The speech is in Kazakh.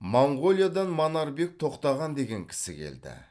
моңғолиядан манарбек тоқтаған деген кісі келді